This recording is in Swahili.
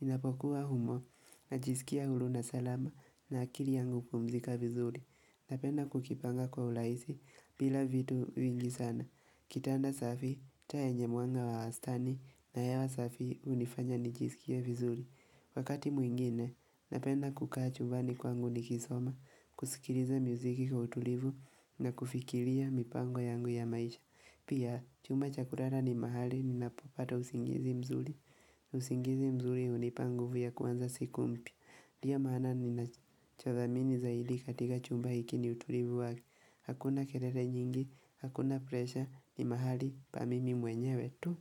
Ninapokuwa humo najisikia huru na salama na akili yangu hupumzika vizuri. Napenda kujipanga kwa uraisi bila vitu vingi sana. Kitanda safi, taa yenye mwanga wa wastani na hewa safi hunifanya nijisikie vizuri. Wakati mwingine, napenda kukaa chumbani kwangu nikisoma, kusikiliza muziki kwa utulivu na kufikiria mipango yangu ya maisha. Pia, chumba cha kurara ni mahali, ninapopata usingizi mzuri. Usingizi mzuri, hunipa nguvu ya kuanza siku mpya Ndio maana, ninachothamini zaidi katika chumba hiki ni utulivu wake. Hakuna kelele nyingi, hakuna presha, ni mahali, pa mimi mwenyewe tu.